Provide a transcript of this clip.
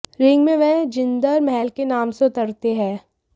ring में वह जिंदर महल के नाम से उतरते हैं